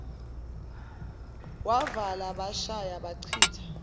wavala bashaya bachitha